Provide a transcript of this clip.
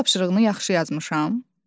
Ev tapşırığını yaxşı yazmışam?